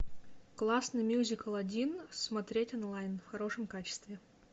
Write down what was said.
классный мюзикл один смотреть онлайн в хорошем качестве